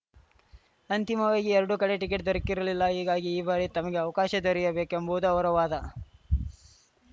ಅಂತಿಮವಾಗಿ ಎರಡೂ ಕಡೆ ಟಿಕೆಟ್‌ ದೊರಕಿರಲಿಲ್ಲ ಹೀಗಾಗಿ ಈ ಬಾರಿ ತಮಗೆ ಅವಕಾಶ ದೊರೆಯಬೇಕು ಎಂಬುವುದು ಅವರ ವಾದ